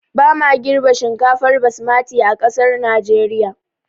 Ba ma girɓa shinkafar basmati a ƙasar najeriya